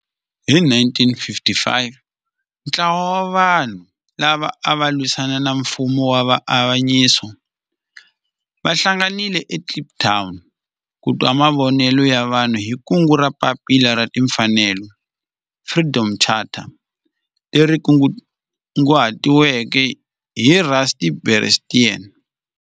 Hi 1955 ntlawa wa vanhu lava ava lwisana na nfumo wa avanyiso va hlanganile eKliptown ku twa mavonelo ya vanhu hi kungu ra Papila ra Tinfanelo, Freedom Charter, leri kunguhatiweke hi Rusty Bernstein.